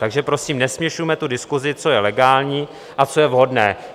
Takže prosím, nesměšujme tu diskusi, co je legální a co je vhodné.